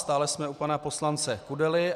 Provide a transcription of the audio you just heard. Stále jsme u pana poslance Kudely.